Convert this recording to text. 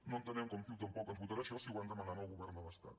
no entenem com ciu tampoc ens votarà això si ho van demanar al govern de l’estat